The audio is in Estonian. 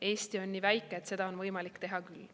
Eesti on nii väike, et seda on võimalik teha küll.